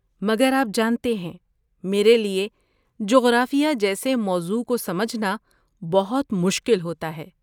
مگر آپ جانتے ہیں، میرے لیے جغرافیہ جیسے موضوع کو سمجھنا بہت مشکل ہوتا ہے۔